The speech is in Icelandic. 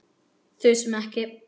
Þusum ekki.